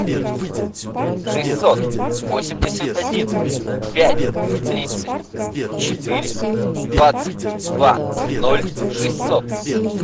шестьсот восемьдесят один пять тридцать четыре двадцать два ноль шестьсот